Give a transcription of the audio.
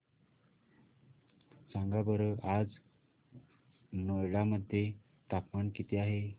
सांगा बरं आज नोएडा मध्ये तापमान किती आहे